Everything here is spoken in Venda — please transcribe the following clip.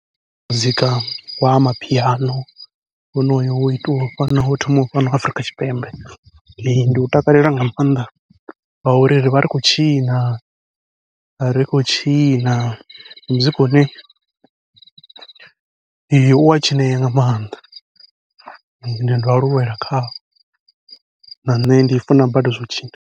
Muzika wa amapiano, honoyo wo itiwaho fhano wo thomaho fhano Afrika Tshipembe ndi u takalela nga maanḓa, ngauri rivha ri khou tshina ri khou tshina ndi muzika une ua tshinea nga maanḓa ende ndo aluwela khawo, na nṋe ndi funa badi zwau tshina.